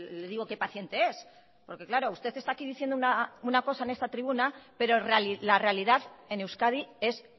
le digo qué paciente es porque claro usted está aquí diciendo una cosa en esta tribuna pero la realidad en euskadi es